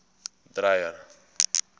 dreyer